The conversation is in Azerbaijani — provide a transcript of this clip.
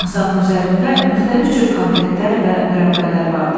Masanın üzərində müxtəlif cür konfetlər və mürəbbələr vardı.